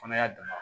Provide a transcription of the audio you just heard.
Fana y'a damana